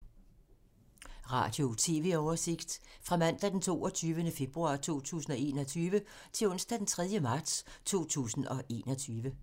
Radio/TV oversigt fra mandag d. 22. februar 2021 til onsdag d. 3. marts 2021